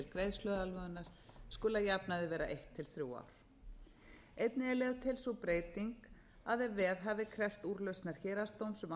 greiðsluaðlögunar skuli að jafnaði vera eitt til þrjú ár einnig er lögð til sú breyting að ef veðhafi krefst úrlausnar héraðsdóms um